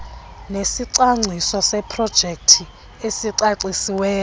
nesicwangciso seprojekthi esicacisiweyo